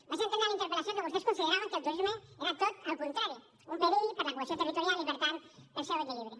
vaig entendre a la interpel·lació que vostès consideraven que el turisme era tot el contrari un perill per a la cohesió territorial i per tant per al seu equilibri